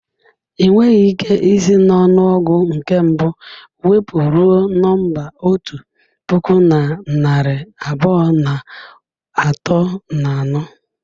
Ị nweghị ike isi n'ọnụọgụ nke mbụ wụpụ ruo nọmba otu puku na narị abụọ na atọ na anọ.